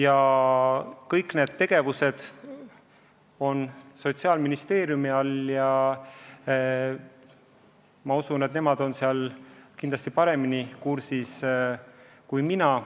Aga see tegevus on Sotsiaalministeeriumi kureerida ja ma usun, et nemad on sellega kindlasti paremini kursis kui mina.